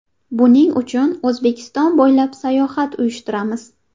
Buning uchun O‘zbekiston bo‘ylab sayohat uyushtiramiz.